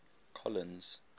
colins